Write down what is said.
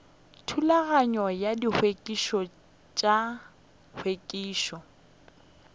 thulano ya ditshepetšo tša hlwekišo